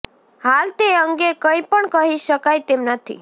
હાલ તે અંગે કંઈ પણ કહી શકાય તેમ નથી